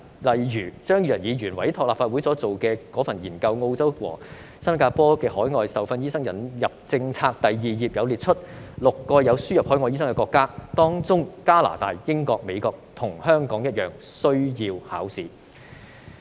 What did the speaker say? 例如，張宇人議員委託立法會秘書處進行的《新加坡和澳洲的海外受訓醫生引入政策》研究，第2頁列出6個有輸入海外醫生的國家，當中加拿大、英國及美國和香港一樣，必須通過考試。